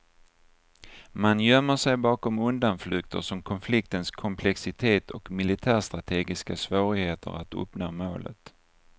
Man gömmer sig bakom undanflykter som konfliktens komplexitet och militärstrategiska svårigheter att uppnå målet.